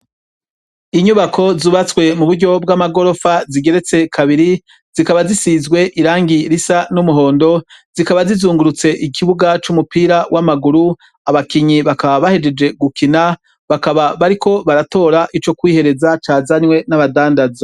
Inyubako zubatswe mu buryo bw'amagorofa zigeretse kabiri, zikaba zisizwe irangi risa n'umuhondo, zikaba zizungurutse ikibuga c'umupira w'amaguru, abakinyi bakaba bahejeje gukina bakaba bariko baratora ico kwihereza cazanywe n'abadandaza.